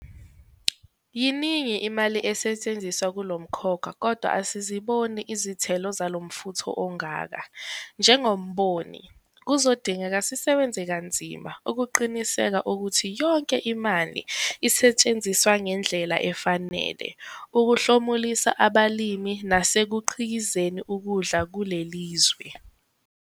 Yiningi imali esetshenziswa kulo mkhakha kodwa asiziboni izithelo zalo mfutho ongaka - njengemboni, kuzodingeka sisebenze kanzima ukuqinisekisa ukuthi yonke imali isetshenziswa ngendlela efanele ukuhlomulisa abalimi nasekukhiqizeni ukudla kuleli zwe.